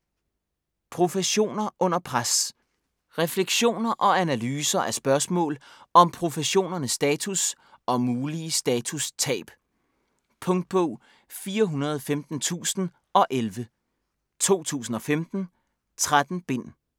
Professioner under pres Reflektioner og analyser af spørgsmål om professionernes status og mulige statustab. Punktbog 415011 2015. 13 bind.